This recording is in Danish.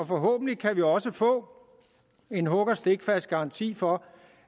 forhåbentlig også få en hug og stikfast garanti for